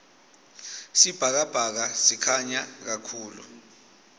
sibhakabhaka sikhanya kahulu